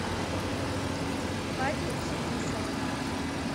вадю фетисова